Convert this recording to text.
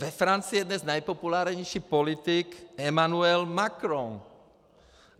Ve Francii je dnes nejpopulárnější politik Emmanuel Macron.